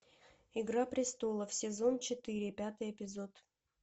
игра престолов сезон четыре пятый эпизод